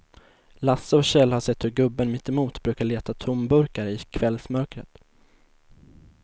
Lasse och Kjell har sett hur gubben mittemot brukar leta tomburkar i kvällsmörkret.